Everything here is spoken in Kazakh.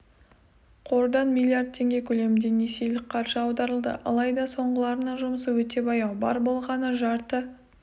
қордан миллиард теңге көлемінде несиелік қаржы аударылды алайда соңғыларының жұмысы өте баяу бар болғаны жарты